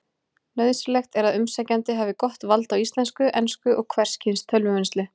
Nauðsynlegt er að umsækjandi hafi gott vald á íslensku, ensku og hvers kyns tölvuvinnslu.